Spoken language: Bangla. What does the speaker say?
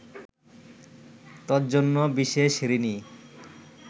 তজ্জন্য বিশেষ ঋণী